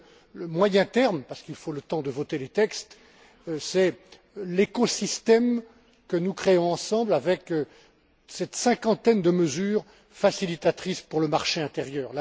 Et puis le moyen terme, parce qu'il faut le temps de voter les textes, c'est l'écosystème que nous créons ensemble avec cette cinquantaine de mesures facilitatrices pour le marché intérieur.